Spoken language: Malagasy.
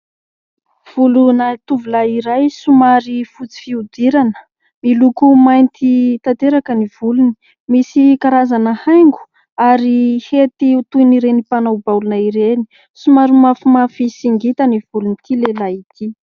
Volona tovolahy iray somary fotsy fihodirana. Miloko mainty tanteraka ny volony. Misy karazana haingo ary hety toy ireny mpanao baolina ireny. Somary mafimafy sy ngita ny volon'ity lehilahy ity.